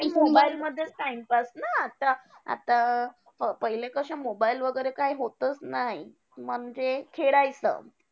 Mobile मधेच time pass ना! आता आता अं पहिले कशे mobile वगैरे काही होतंच नाही. म्हणजे खेळायचं.